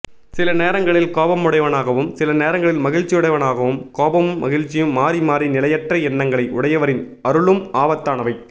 சில நேரங்களில் கோபமுடையவனாகவும் சில நேரங்களில் மகிழ்ச்சியுடையவனாகவும் கோபமும் மகிழ்ச்சியும் மாறி மாறி நிலையற்ற எண்ணங்களை உடையவரின் அருளும் ஆபத்தானவை